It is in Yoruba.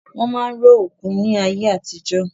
Wọn máa ń ró òkú ní ayé àtijọ́